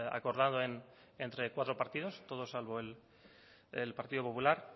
acordado entre cuatro partidos todos salvo el partido popular